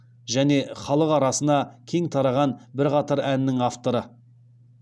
және халық арасына кең тараған бірқатар әннің авторы